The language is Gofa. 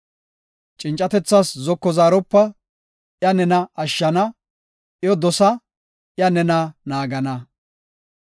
Cincatethas zoko zaaropa; iya nena ashshana; iyo dosa; iya nena naagana.